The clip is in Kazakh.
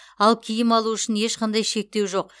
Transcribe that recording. ал киім алу үшін ешқандай шектеу жоқ